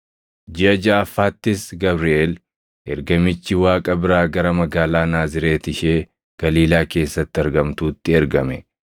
Jiʼa jaʼaffaattis Gabriʼeel Ergamichi Waaqa biraa gara magaalaa Naazreeti ishee Galiilaa keessatti argamtuutti ergame;